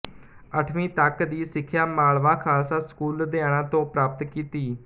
ਅੱਠਵੀਂ ਤੱਕ ਦੀ ਸਿੱਖਿਆ ਮਾਲਵਾ ਖਾਲਸਾ ਸਕੂਲ ਲੁਧਿਆਣਾ ਤੋਂ ਪ੍ਰਾਪਤ ਕੀਤੀ